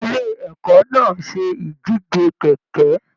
Ilé ẹkọ náà se ìdíje kẹkẹ.